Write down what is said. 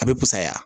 A bɛ pusaya